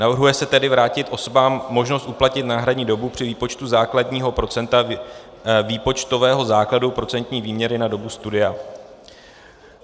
Navrhuje se tedy vrátit osobám možnost uplatnit náhradní dobu při výpočtu základního procenta výpočtového základu procentní výměry na dobu studia.